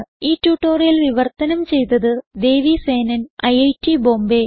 ഈ ട്യൂട്ടോറിയൽ വിവർത്തനം ചെയ്തത് ദേവി സേനൻ ഐറ്റ് ബോംബേ